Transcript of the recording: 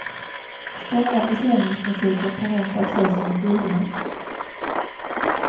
Strama försäljningsprinciper kan rentav ses som en skyldighet.